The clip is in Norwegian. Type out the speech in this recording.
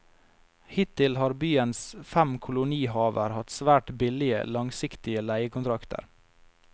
Hittil har byens fem kolonihaver hatt svært billige, langsiktige leiekontrakter.